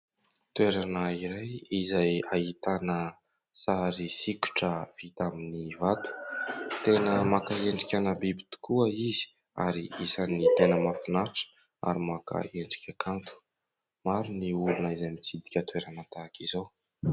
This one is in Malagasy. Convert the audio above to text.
Toerana iray izay ahitana sary sokitra vita amin'ny vato, tena maka endrikana biby tokoa izy ary isany tena mahafinaritra ary maka endrika kanto. Maro ny olona izay mitsidika toerana tahaka izao.